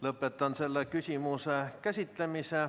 Lõpetan selle küsimuse käsitlemise.